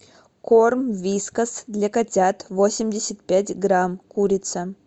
корм вискас для котят восемьдесят пять грамм курица